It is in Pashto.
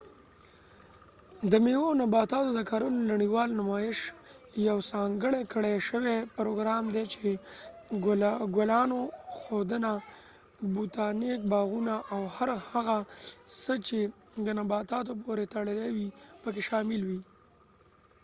د میوو او نباتاتو د کرلو نړیوال نمایش یو ځانګړی کړي شوي پروګرام دي چې د ګلانو ښودنه، بوتانیک باغونه ،او هر هغه څه چې د نباتاتو پورې تړلی وي پکې شامل وي